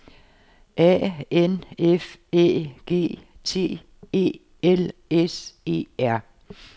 A N F Æ G T E L S E R